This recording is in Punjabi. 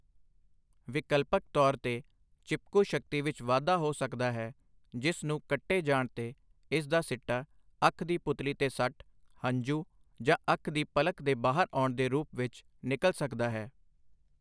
ਵਿਕਲਪਕ ਤੌਰ 'ਤੇ, ਚਿਪਕੂ ਸ਼ਕਤੀ ਵਿੱਚ ਵਾਧਾ ਹੋ ਸਕਦਾ ਹੈ, ਜਿਸ ਨੂੰ ਕੱਟੇ ਜਾਣ 'ਤੇ ਇਸ ਦਾ ਸਿੱਟਾ ਅੱਖ ਦੀ ਪੁਤਲੀ ਤੇ ਸੱਟ, ਹੰਝੂ, ਜਾਂ ਅੱਖ ਦੀ ਪਲਕ ਦੇ ਬਾਹਰ ਆਉਣ ਦੇ ਰੂਪ ਵਿੱਚ ਨਿਕਲ ਸਕਦਾ ਹੈ।